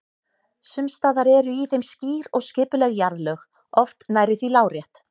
Sums staðar eru í þeim skýr og skipuleg jarðlög, oft nærri því lárétt.